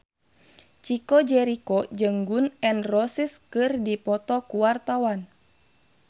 Chico Jericho jeung Gun N Roses keur dipoto ku wartawan